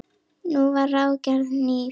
Nú var ráðgerð ný ferð.